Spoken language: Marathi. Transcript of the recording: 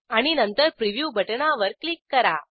आणि नंतर प्रिव्ह्यू बटणावर क्लिक करा